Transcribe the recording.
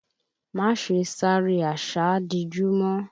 Má ṣe sáré àsádijú mọ́!